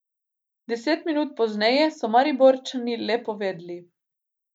Deset minut pozneje so Mariborčani le povedli.